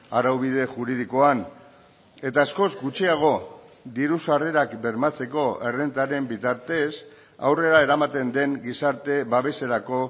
araubide juridikoan eta askoz gutxiago diru sarrerak bermatzeko errentaren bitartez aurrera eramaten den gizarte babeserako